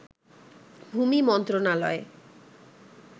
ভূমি মন্ত্রণালয়